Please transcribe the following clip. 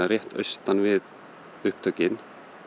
austan við upptökin